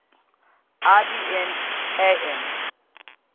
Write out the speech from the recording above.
ibn hayy n